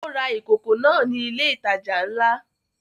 Ó ra ìkòkò náà ní ilé ìtajà ńlá